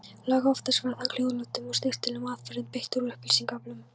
Langoftast var þó hljóðlátum og snyrtilegum aðferðum beitt við upplýsingaöflun.